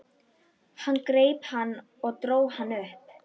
Hann greip hann og dró hann upp.